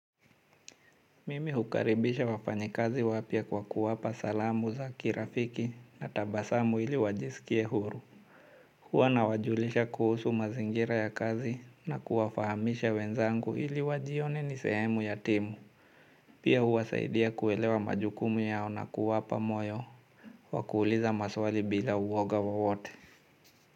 Mimi hukaribisha wafanyikazi wapya kwa kuwapa salamu za kirafiki na tabasamu ili wajisikie huru. Huwa nawajulisha kuhusu mazingira ya kazi na kuwafahamisha wenzangu ili wajione nisehemu ya timu. Pia huwasaidia kuelewa majukumu yao na kuwapa moyo. Wakuuliza maswali bila uwoga wawote.